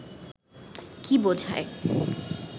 কী বোঝায়